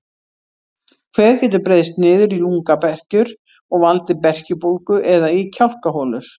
Kvef getur breiðst niður í lungnaberkjur og valdið berkjubólgu eða í kjálkaholur.